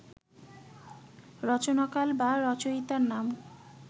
রচনাকাল বা রচয়িতার নাম